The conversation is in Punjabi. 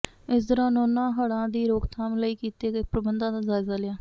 ਇਸ ਦੌਰਾਨ ਉਨ੍ਹਾਂ ਹੜ੍ਹਾਂ ਦੀ ਰੋਕਥਾਮ ਲਈ ਕੀਤੇ ਗਏ ਪ੍ਰਬੰਧਾਂ ਦਾ ਜਾਇਜ਼ਾ ਲਿਆ